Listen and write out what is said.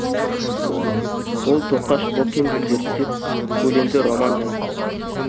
ол тоқаш бокинді зерттеп көлемді роман жазды